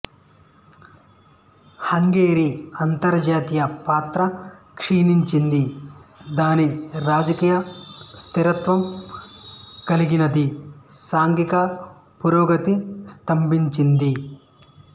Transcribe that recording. హంగేరి అంతర్జాతీయ పాత్ర క్షీణించింది దాని రాజకీయ స్థిరత్వం కదిలినది సాంఘిక పురోగతి స్థభించింది